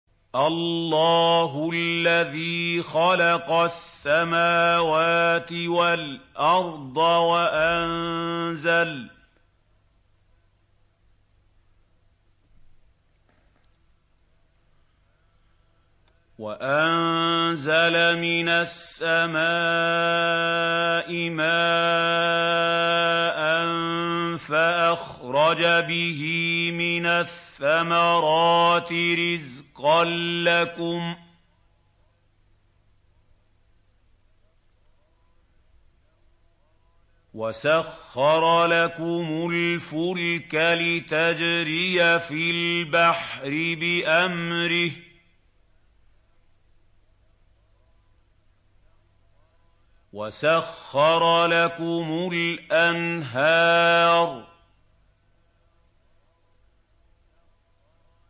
اللَّهُ الَّذِي خَلَقَ السَّمَاوَاتِ وَالْأَرْضَ وَأَنزَلَ مِنَ السَّمَاءِ مَاءً فَأَخْرَجَ بِهِ مِنَ الثَّمَرَاتِ رِزْقًا لَّكُمْ ۖ وَسَخَّرَ لَكُمُ الْفُلْكَ لِتَجْرِيَ فِي الْبَحْرِ بِأَمْرِهِ ۖ وَسَخَّرَ لَكُمُ الْأَنْهَارَ